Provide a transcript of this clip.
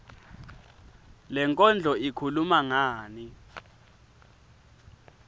lenkondlo ikhuluma ngani